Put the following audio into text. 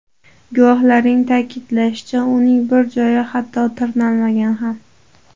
Guvohlarning ta’kidlashicha, uning biror joyi hatto tirnalmagan ham.